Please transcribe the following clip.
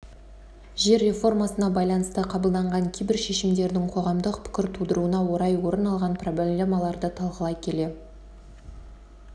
жер реформасына байланысты қабылданған кейбір шешімдердің қоғамдық пікір тудыруына орай орын алған проблемаларды талқылай келе